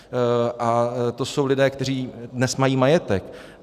A to jsou lidé, kteří dnes mají majetek.